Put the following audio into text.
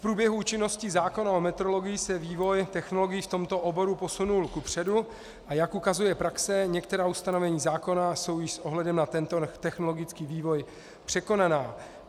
V průběhu účinnosti zákona o metrologii se vývoj technologií v tomto oboru posunul kupředu, a jak ukazuje praxe, některá ustanovení zákona jsou již s ohledem na tento technologický vývoj překonaná.